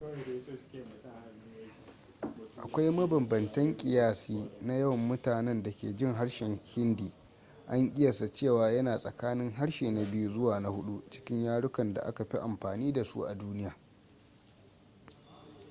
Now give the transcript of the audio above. akwai mabambantan kiyasi na yawan mutanen da ke jin harshen hindi an ƙiyasta cewa yana tsakanin harshe na biyu zuwa na hudu cikin yarukan da aka fi amfani da su a duniya